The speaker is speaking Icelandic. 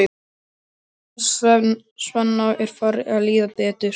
Svenna er farið að líða betur.